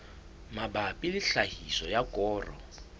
mabapi le tlhahiso ya koro